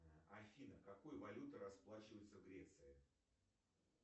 афина какой валютой расплачиваются в греции